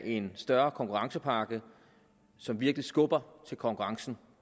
af en større konkurrencepakke som virkelig skubber til konkurrencen